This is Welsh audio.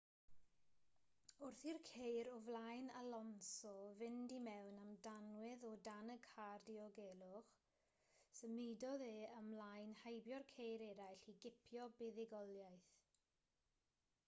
wrth i'r ceir o flaen alonso fynd i mewn am danwydd o dan y car diogelwch symudodd e ymlaen heibio'r ceir eraill i gipio buddugoliaeth